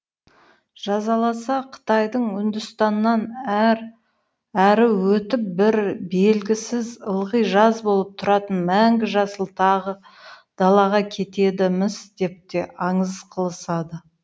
жазаласа қытайдан үндістаннан әрі өтіп бір белгісіз ылғи жаз болып тұратын мәңгі жасыл тағы далаға кетеді міс деп те аңыз қылысады